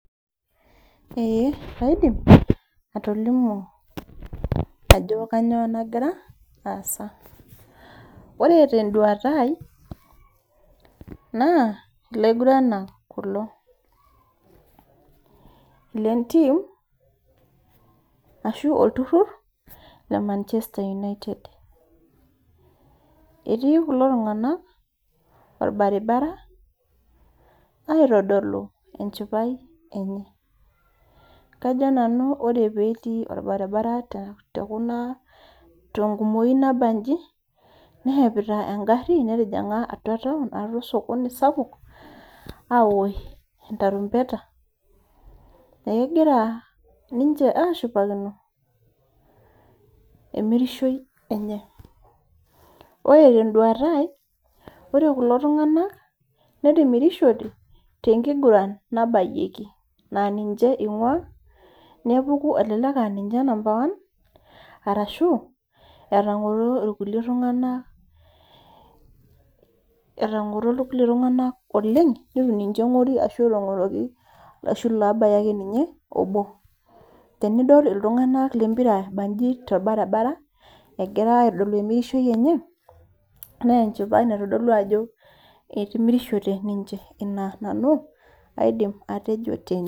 Ee kaidim, atolimu ajo kanyioo nagira aasa. Ore teduata ai, naa ilaiguranak kulo. Lentim, ashu olturrur, le Manchester United. Etii kulo tung'anak orbaribara, aitodolu enchipai enye. Kajo nanu ore petii orbaribara tekuna tenkumoyu nabaji, neshepita egarri netijing'a atua taon atua osokoni sapuk, awosh entarumbeta, egira ninche ashipakino, emirishoi enye. Ore teduata ai, ore kulo tung'anak, netimirishote tenkiguran nabayieki. Na ninche ing'ua, nepuku elelek aninche number one, arashu, etang'oro irkulie tung'anak etang'oro irkulie tung'anak oleng, nitu ninche eng'ori ashu etang'oroki arashu lobaya ake ninye obo. Tenidol iltung'anak lempira ebanji torbaribara, egira aitodolu emirishoi enye, nenchipai naitodolu ajo etimirishote ninche. Ina nanu, aidim atejo tene.